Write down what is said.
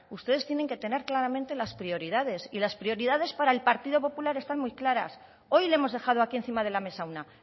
ustedes tienen que tener claramente las prioridades y las prioridades para el partido popular están muy claras hoy le hemos dejado aquí encima de la mesa una